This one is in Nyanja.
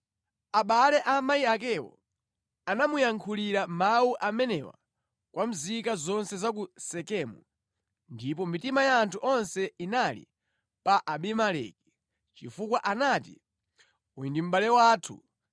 Abale a amayi akewo anamuyankhulira mawu amenewa kwa nzika zonse za ku Sekemu, ndipo mitima ya anthu onse inali pa Abimeleki chifukwa anati, “Uyu ndi mʼbale wathu,”